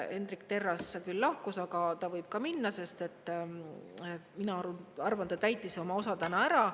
Hendrik Terras küll lahkus, aga ta võib ka minna, sest mina arvan, et ta täitis oma osa täna ära.